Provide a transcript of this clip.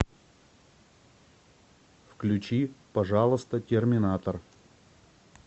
включи пожалуйста терминатор